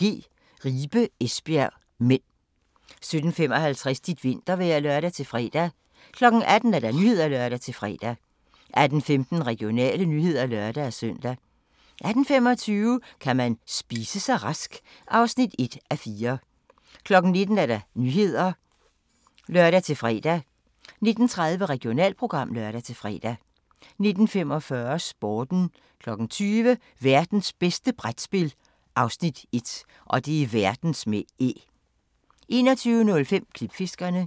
16:50: Håndbold: GOG - Ribe-Esbjerg (m) 17:55: Dit vintervejr (lør-fre) 18:00: Nyhederne (lør-fre) 18:15: Regionale nyheder (lør-søn) 18:25: Kan man spise sig rask? (1:4) 19:00: Nyhederne (lør-fre) 19:30: Regionalprogram (lør-fre) 19:45: Sporten 20:00: Værtens bedste brætspil (Afs. 1) 21:05: Klipfiskerne